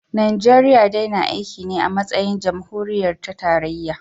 Najeriya dai na aiki ne a matsayin jamhuriya ta tarayya